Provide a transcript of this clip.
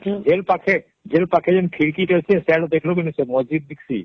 Jail ପାଖେ Jail ଆଖେ ଯେ ଖିଡକୀ ଅଛେ ସିଆଡେ ଦେଖ ଲୁ କି ନାଇଁ ମଜି ଦିଖସେ